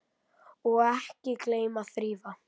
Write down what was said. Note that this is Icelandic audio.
Og ekki gleyma að þrífa.